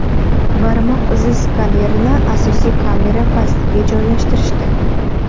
Barmoq izi skanerini asosiy kamera pastiga joylashtirishdi.